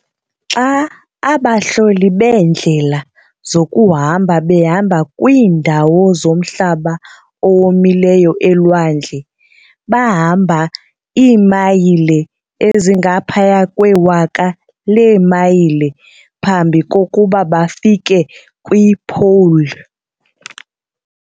Xa abahloli beendlela zokuhamba behamba kwiindawo zomhlaba owomileyo elwandle, bahamba iimayile ezingaphaya kwewaka leemayile phambi kokuba bafike kwi-"pole".